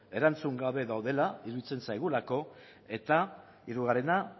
erantzun gabe daudela iruditzen zaigula eta hirugarrena